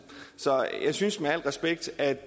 så jeg synes med al respekt at